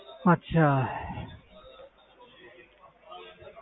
ਅੱਛਾ